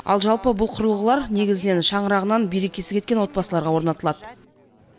ал жалпы бұл құрылғылар негізінен шаңырағынан берекесі кеткен отбасыларға орнатылады